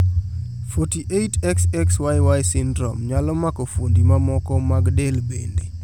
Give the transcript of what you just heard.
48,XXYY syndrome nyalo mako fuondi mamoko mag del bende.